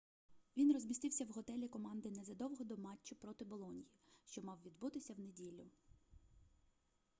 він розмістився в готелі команди незадовго до матчу проти болоньї що мав відбутися в неділю